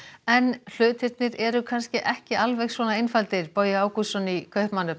en hlutirnir eru kannski ekki alveg svo einfaldir Bogi Ágústsson í Kaupmannahöfn